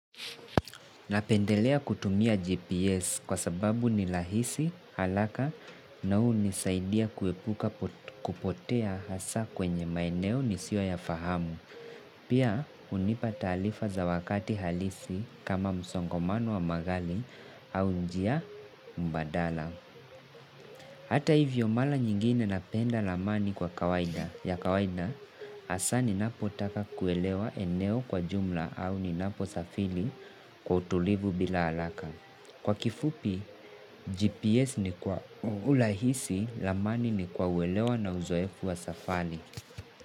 Napendelea kutumia GPS kwa sababu ni rahisi haraka na hunisaidia kuepuka kupotea hasaa kwenye maeneo nisiyoyafahamu. Pia hunipa taarifa za wakati halisi kama msongomano wa magari au njia mbadala. Hata hivyo mara nyingine napenda ramani kwa kawaida ya kawaida hasa ninapo taka kuelewa eneo kwa jumla au ninapo safiri kwa utulivu bila haraka. Kwa kifupi GPS ni kwa urahisi ramani ni kwa uelewa na uzoefu wa safari.